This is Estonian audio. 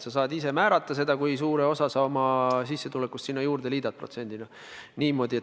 Sa saad ise määrata, kui suure osa oma sissetulekust sa protsendina sinna liidad.